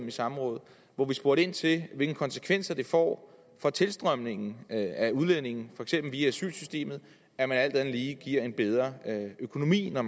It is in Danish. i samråd hvor vi spurgte ind til hvilke konsekvenser det får for tilstrømningen af udlændinge for eksempel via asylsystemet at man alt andet lige giver dem en bedre økonomi når